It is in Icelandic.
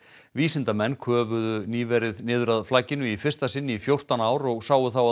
vísindamenn köfuðu nýverið niður að flakinu í fyrsta sinn í fjórtán ár og sáu þá að